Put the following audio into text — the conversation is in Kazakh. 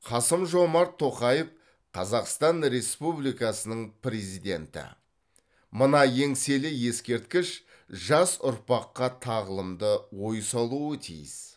қасым жомарт тоқаев қазақстан республикасының президенті мына еңселі ескерткіш жас ұрпаққа тағылымды ой салуы тиіс